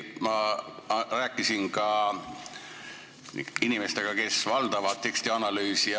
Ma rääkisin ka inimestega, kes valdavad tekstianalüüsi.